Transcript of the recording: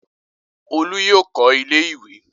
Olú yóò kọ́ ilé-ìwé!